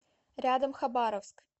рядом хабаровск